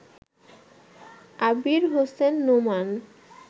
Abir Hossain Noman